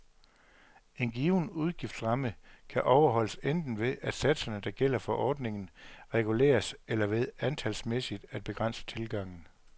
En given udgiftsramme kan overholdes enten ved, at satserne, der gælder for ordningen, reguleres, eller ved antalsmæssigt at begrænse tilgangen.